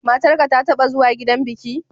Matarka ta taɓa zuwa gidan biki?